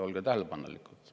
Olge tähelepanelikum!